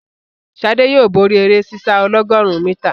Sade yóò bóri eré sísá ọlọ́gọ̀rún mítà.